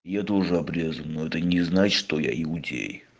я тоже обрезан но это не значит что я иудей